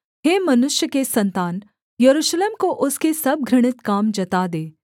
हे मनुष्य के सन्तान यरूशलेम को उसके सब घृणित काम जता दे